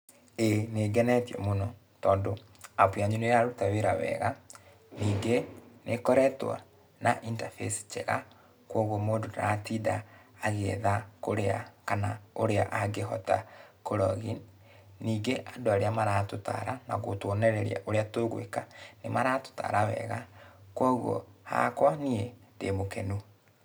Ĩĩ nĩngenetio mũno, tondũ apu yanyu nĩraruta wĩra wega. Ningĩ nĩkoretũo, na interface njega, kuoguo mũndũ ndaratinda agĩetha kũrĩa kana ũrĩa angĩhota kũ login . Ningĩ andũ arĩa maratũtara na gũtuonereria ũrĩa tũgũĩka, nĩmaratũtara wega, kuoguo hakwa niĩ ndĩmũkenu.